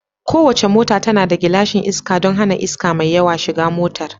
Kowace mota tana da glashin iska don hana iska mai yawa shiga motar